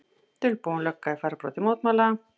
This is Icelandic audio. Dulbúin lögga í fararbroddi mótmæla